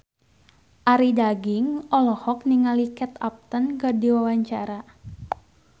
Arie Daginks olohok ningali Kate Upton keur diwawancara